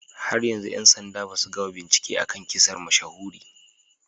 Har yanzu 'yan sanda basu gama bincike a kan kisar mashahuri